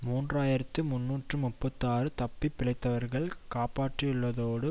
மூன்று ஆயிரத்தி முன்னூற்று முப்பத்தி ஆறு தப்பி பிழைத்தவர்களை காப்பாற்றியுள்ளதோடு